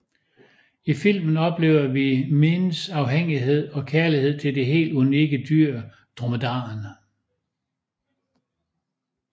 I filmen oplever vi Miins afhængighed og kærlighed til det helt unikke dyr dromedaren